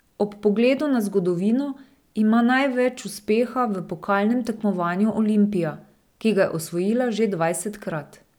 Ob pogledu na zgodovino ima največ uspeha v pokalnem tekmovanju Olimpija, ki ga je osvojila že dvajsetkrat.